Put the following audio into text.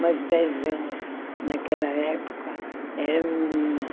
Mas dez anos, naquela época, era menina.